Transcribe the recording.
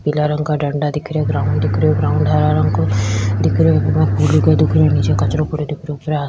पिला रंग का डंडा दिख रह्यो ग्राउंड दिख रह्यो ग्राउंड हरा रंग को दिख रह्यो वहां फूलों का दुकान निचे कचरा पड्यो दिख रियो ऊपर आ --